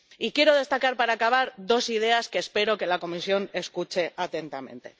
Y quiero destacar, para acabar, dos ideas que espero que la Comisión escuche atentamente.